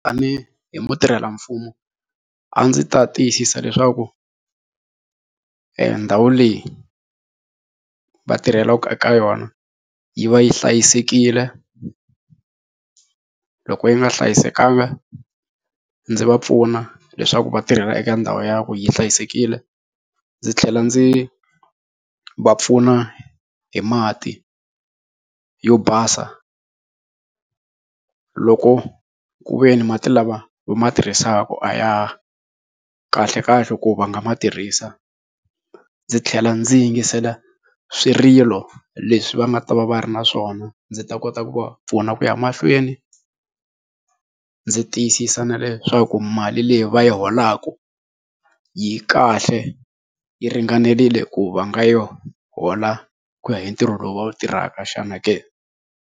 Tanihi mutirhelamfumo a ndzi ta tiyisisa leswaku ndhawu leyi va tirhelaka eka yona yi va yi hlayisekile loko yi nga hlayisekanga ndzi va pfuna leswaku vatirhela eka ndhawu ya ku yi hlayisekile ndzi tlhela ndzi va pfuna hi mati yo basa loko ku ve ni mati lama va ma tirhisaka a ya kahle kahle ku va nga ma tirhisa ndzi tlhela ndzi yingisela swirilo leswi va nga ta va va ri na swona ndzi ta kota ku va pfuna ku ya mahlweni ndzi tiyisisa na leswaku mali leyi va yi holaka yi kahle yi ringanerile ku va nga yo hola ku ya hi ntirho lowu va wu tirhaka xana ke.